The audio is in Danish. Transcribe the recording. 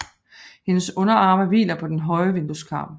Hendes underarme hviler på den høje vindueskarm